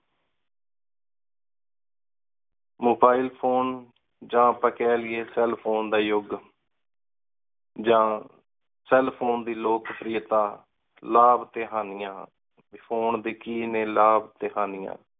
Mobile phone ਜਾ ਆਪਾ ਕਹਿ ਕੀਏ cell phone ਦਾ ਯੁਗ। ਜਾ cell phone ਦੀ ਲੋਕਪ੍ਰਿਯਤਾ, ਲਾਭ ਤੇ ਹਾਣੀਆਂ, ਫੋਨ ਦੇ ਕਿ ਨੇ ਲਾਭ ਤੇ ਹਾਣੀਆਂ